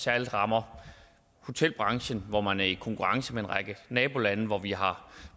særlig rammer hotelbranchen hvor man er i konkurrence med en række nabolande hvor de har